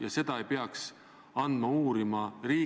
Ärge, palun, väänake minu sõnu!